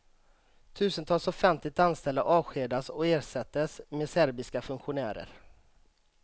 Tusentals offentligt anställda avskedades och ersattes med serbiska funktionärer.